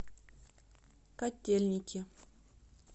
котельники